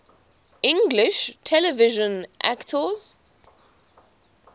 english television actors